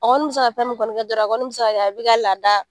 A kɔni be se ka fɛn mun kɔni kɛ dɔrɔn, a kɔni bi se ka kɛ a bi ka lada